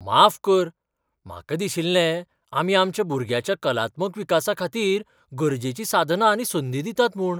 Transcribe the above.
माफ कर? म्हाका दिशिल्लें आमी आमच्या भुरग्याच्या कलात्मक विकासाखातीर गरजेचीं साधनां आनी संदी दितात म्हूण.